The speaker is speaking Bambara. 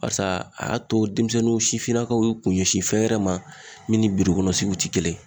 Barisa a y'a to denmisɛnninw sifinnakaw y'u kun ɲɛsin fɛn wɛrɛ ma min ni birokɔnɔ sigiw ti kelen ye